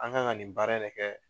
An kan ka nin baara in de kɛ